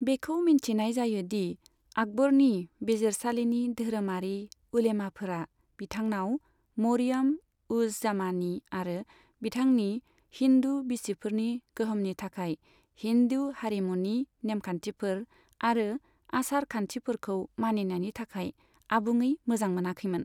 बेखौ मिन्थिनाय जायो दि आकबरनि बिजिरसालिनि धोरोमारि उलेमाफोरा बिथांनाव मरियाम उज जामानी आरो बिथांनि हिन्दु बिसिफोरनि गोहोमनि थाखाय हिन्दु हारिमुनि नेमखान्थिफोर आरो आसार खान्थिफोरखौ मानिनायनि थाखाय आबुङै मोजां मोनाखैमोन।